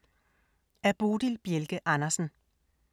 Af Bodil Bjelke Andersen